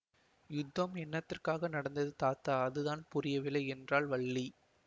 யுத்தம் என்னத்திற்காக நடந்தது தாத்தா அதுதான் புரியவில்லை என்றாள் வள்ளி